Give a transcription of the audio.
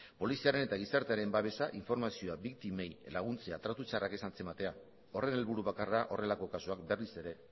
poliziaren eta gizartearen babesa informazioa biktimei laguntzea tratu txarrak ez antzematea horren helburu bakarra horrelako kasuak berriz ere